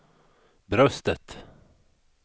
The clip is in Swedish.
bröstet